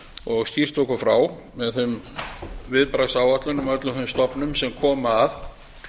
og skýrt okkur frá með þeim viðbragðsáætlunum og öllum þeim stofnum sem koma að